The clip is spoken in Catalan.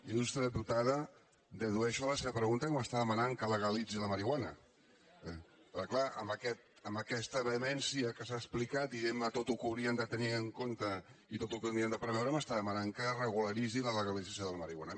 il·lustre diputada dedueixo de la seva pregunta que m’està demanant que legalitzi la marihuana perquè és clar amb aquesta vehemència amb què s’ha explicat dientme tot el que hauríem de tenir en compte i tot el que hauríem de preveure m’està demanant que regularitzi la legalització de la marihuana